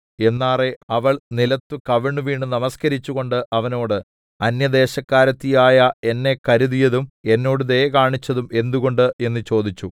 എന്നാറെ അവൾ നിലത്തു കവിണ്ണുവീണു നമസ്കരിച്ചുകൊണ്ട് അവനോട് അന്യദേശക്കാരത്തി ആയ എന്നെ കരുതിയതും എന്നോട് ദയ കാണിച്ചതും എന്തുകൊണ്ട് എന്നു ചോദിച്ചു